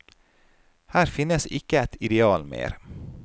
Her finnes ikke et ideal mer.